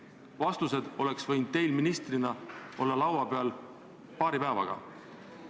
Vastused oleksid võinud teil ministrina olla laua peal paari päevaga.